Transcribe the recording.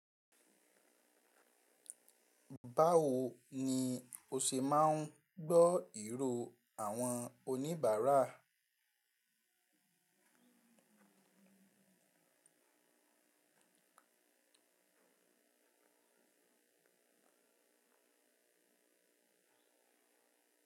Báwo ni o ṣe máa ń gbọ́ ìró àwọn oníbàárà?